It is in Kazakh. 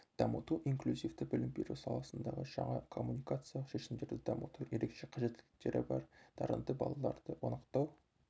дамыту инклюзивті білім беру саласындағы жаңа коммуникациялық шешімдерді дамыту ерекше қажеттіліктері бар дарынды балаларды анықтау